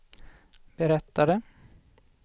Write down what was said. berättade